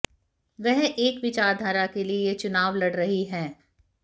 वह एक विचारधारा के लिए यह चुनाव लड़ रही हैं